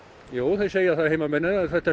jú þeir segja það heimamenn að þetta